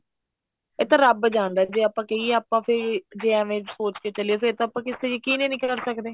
ਇਹ ਦੀ ਰੱਬ ਜਾਣਦਾ ਜੇ ਆਪਾਂ ਕਹੀਏ ਆਪਾਂ ਫੇਰ ਜੇ ਐਵੇਂ ਸੋਚ ਕੇ ਚਲੀਏ ਫੇਰ ਤਾਂ ਆਪਾਂ ਕਿਸ ਤੇ ਯਕੀਨ ਹੀ ਨਹੀਂ ਕਰ ਸਕਦੇ